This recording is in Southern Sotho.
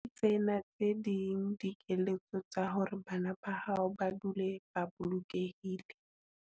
Tsena tse ding dikeletso tsa hore bana ba hao ba dule ba bolokehile.